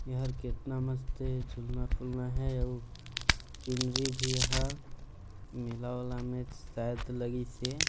एहर केतना मस्त हे चुलना फुलना हे अउ चूनरी भी हा मेला-वेला मे शायद लगीस हे।